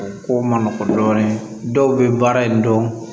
O ko man nɔgɔn dɔɔnin dɔw bɛ baara in dɔn